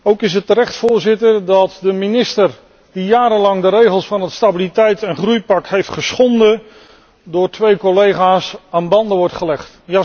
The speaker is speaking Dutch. Ook is het juist, Voorzitter, dat de minister die jarenlang de regels van het stabiliteits en groeipact heeft geschonden, door twee collega's aan banden wordt gelegd.